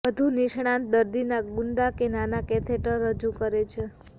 વધુ નિષ્ણાત દર્દીના ગુદા કે નાના કેથેટર રજૂ કરે છે